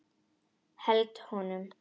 Held honum.